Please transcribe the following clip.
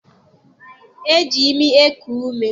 E ji imi eku ume.